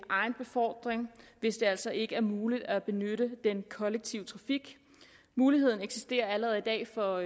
egenbefordring hvis det altså ikke er muligt at benytte den kollektive trafik muligheden eksisterer allerede i dag for